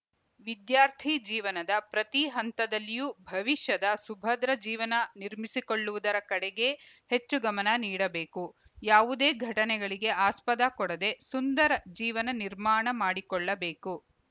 ವಿದ್ಯಾರ್ಥಿ ಜೀವನದ ಪ್ರತಿ ಹಂತದಲ್ಲಿಯೂ ಭವಿಷ್ಯದ ಸುಭದ್ರ ಜೀವನ ನಿರ್ಮಿಸಿಕೊಳ್ಳುವುದರ ಕಡೆಗೇ ಹೆಚ್ಚು ಗಮನ ನೀಡಬೇಕು ಯಾವುದೇ ಘಟನೆಗಳಿಗೆ ಆಸ್ಪದ ಕೊಡದೆ ಸುಂದರ ಜೀವನ ನಿರ್ಮಾಣ ಮಾಡಿಕೊಳ್ಳಬೇಕು